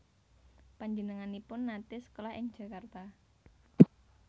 Panjenenganipun naté sekolah ing Jakarta